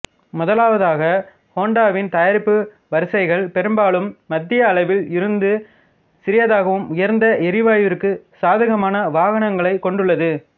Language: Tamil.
முதலாவதாக ஹோண்டாவின் தயாரிப்பு வரிசைகள் பெரும்பாலும் மத்திய அளவில் இருந்து சிறியதாகவும் உயர்ந்த எரிவாயுவிற்கு சாதகமான வாகனங்களைக் கொண்டுள்ளது